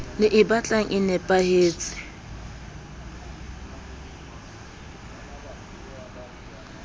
le e batlang e nepahetse